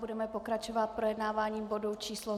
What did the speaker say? Budeme pokračovat projednáváním bodu číslo